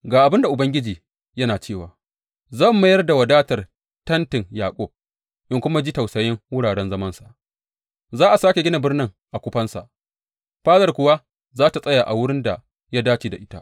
Ga abin da Ubangiji yana cewa, Zan mayar da wadatar tentin Yaƙub in kuma ji tausayin wuraren zamansa; za a sāke gina birnin a kufansa, fadar kuwa za tă tsaya a wurin da ya dace da ita.